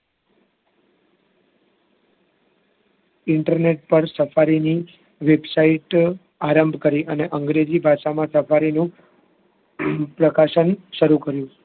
internet પર safari ની website આરંભ કરી અને અંગ્રેજી ભાષામાં safari નું પ્રકાશન શરુ કર્યું